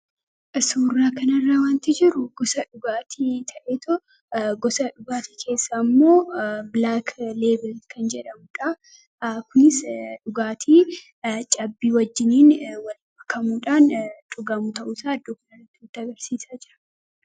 isuurraa kanarraa wanti jiru gdgaatii ta'egosa dhugaatii keessa ammoo bilaak leebel kan jedhamuudha kunis dhugaatii cabbii wajjiniin wal bakkamuudhaan dhugamu ta'usa addooknaita barsiisaa jira